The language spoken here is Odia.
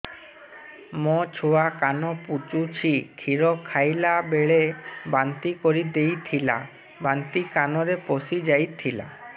ମୋ ଛୁଆ କାନ ପଚୁଛି କ୍ଷୀର ଖାଇଲାବେଳେ ବାନ୍ତି କରି ଦେଇଥିଲା ବାନ୍ତି କାନରେ ପଶିଯାଇ ଥିଲା